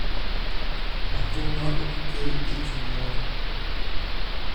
Athung'a ok kel ich muor.